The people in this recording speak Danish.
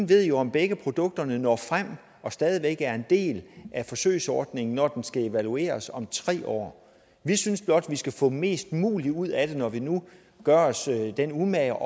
ved om begge produkter når frem og stadig væk er en del af forsøgsordningen når den skal evalueres om tre år vi synes blot at vi skal få mest muligt ud af det når vi nu gør os den umage